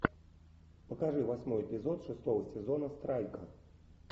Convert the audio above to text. покажи восьмой эпизод шестого сезона страйка